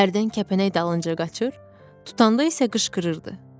Hərdən kəpənək dalınca qaçır, tutanda isə qışqırırdı.